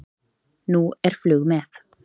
Nú er flug með